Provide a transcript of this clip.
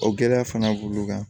O gɛlɛya fana b'ulu kan